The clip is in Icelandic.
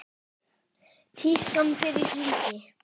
Tískan fer í hringi.